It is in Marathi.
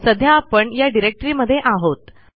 सध्या आपण या डिरेक्टमध्ये आहोत